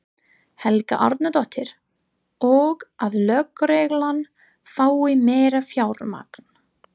Helga Arnardóttir: Og að lögreglan fái meira fjármagn?